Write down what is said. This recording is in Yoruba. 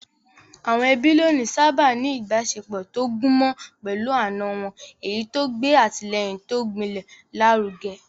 Àwọn ẹbí lónìí sáábà ń ní ìbáṣepọ̀ tó gúnmọ́ pẹ̀lú àna wọn, èyí tó ń gbé àtìlẹ́yìn tó gbilẹ̀ lárugẹ.